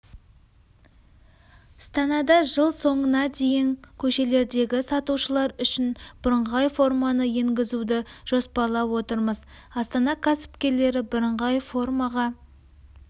станада жыл соңына дейін көшелердегі сатушылар үшін бірыңғай форманы енгізуді жоспарлап отырмыз астана кәсіпкерлері бірыңғай формаға